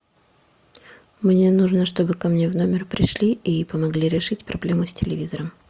мне нужно чтобы ко мне в номер пришли и помогли решить проблему с телевизором